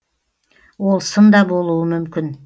ол сын да болуы мүмкін